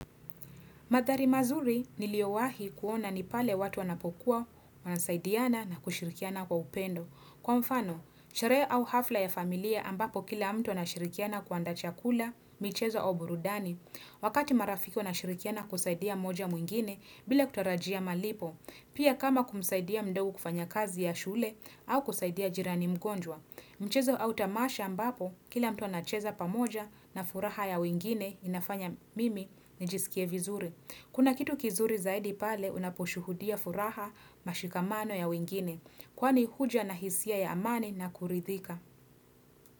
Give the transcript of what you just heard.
Mandhari mazuri niliowahi kuona ni pale watu wanapokuwa wanasaidiana na kushirikiana kwa upendo Kwa mfano sherehe au hafla ya familia ambapo kila mtu anashirikiana kuandaa chakula michezo au burudani Wakati marafiki wanashirikiana kusaidia moja au mwingine bila kutarajia malipo Pia kama kumsaidia mdogo kufanya kazi ya shule au kusaidia jirani mgonjwa Mchezo au tamasha ambapo kila mtu anacheza pamoja na furaha ya wengine inafanya mimi nijisikie vizuri Kuna kitu kizuri zaidi pale unaposhuhudia furaha mashikamano ya wengine kwani huja na hisia ya amani na kuridhika.